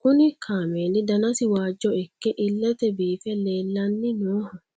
kuni kaameeli danasi waajjo ikke illete biife leellanni nooho